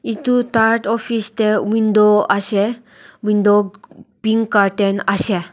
etu office teh window ase window pink curtain ase.